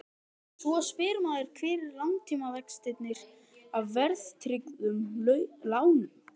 Svo spyr maður hvar eru langtímavextirnir af verðtryggðum lánum?